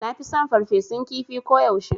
Nafi son ferfesun kifi ko yaushe